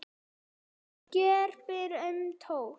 Fólk greip bara í tómt.